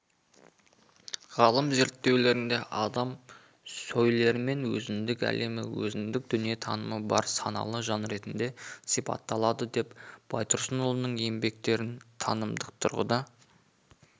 ғалым зерттеулерінде адам сөйлермен өзіндік әлемі өзіндік дүниетанымы бар саналы жан ретінде сипатталады деп байтұрсынұлының еңбектерін танымдық тұрғыда